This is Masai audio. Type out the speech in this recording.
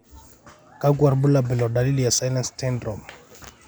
kakwa irbulabol o dalili e Sillence syndrome?